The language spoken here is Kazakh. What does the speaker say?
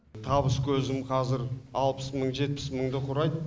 табыс көзім қазір алпыс мың жетпіс мыңды құрайды